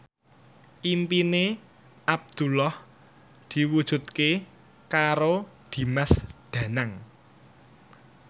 impine Abdullah diwujudke karo Dimas Danang